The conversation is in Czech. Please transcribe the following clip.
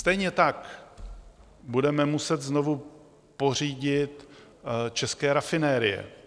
Stejně tak budeme muset znovu pořídit české rafinérie.